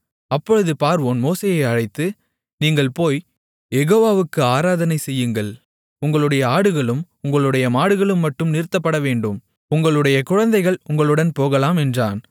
அப்பொழுது பார்வோன் மோசேயை அழைத்து நீங்கள் போய்க் யெகோவாவுக்கு ஆராதனை செய்யுங்கள் உங்களுடைய ஆடுகளும் உங்களுடைய மாடுகளும் மட்டும் நிறுத்தப்படவேண்டும் உங்களுடைய குழந்தைகள் உங்களுடன் போகலாம் என்றான்